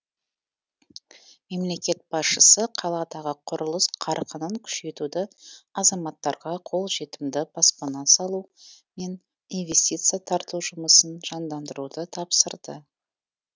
мемлекет басшысы қаладағы құрылыс қарқынын күшейтуді азаматтарға қолжетімді баспана салу мен инвестиция тарту жұмысын жандандыруды тапсырды